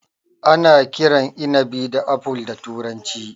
Ana kiran inabi da Apple da turanci.